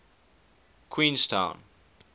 queenstown